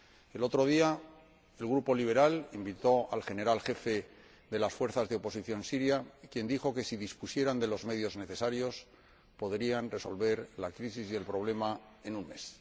El otro día, el Grupo ALDE invitó al Comandante en Jefe de las fuerzas de oposición siria, quien dijo que, si dispusieran de los medios necesarios, podrían resolver la crisis y el problema en un mes.